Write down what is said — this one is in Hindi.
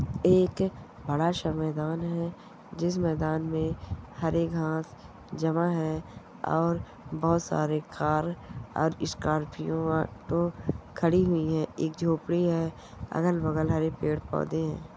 एक बड़ा सा मैदान है जिस मैदान में हरे घास जमा है और बहुत सारे कार और स्कॉर्पियो ऑटो खड़ी हुई है एक झोपड़ी है अगल बगल हरे पेड़ पौधे है।